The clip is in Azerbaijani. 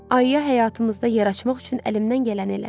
Ayıya həyatımızda yaraşmaq üçün əlimdən gələni elədim.